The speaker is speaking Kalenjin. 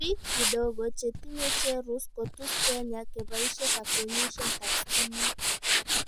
piik gidogo chetinye cherus kotus kenya kebaishe kakwenyishet ap stimet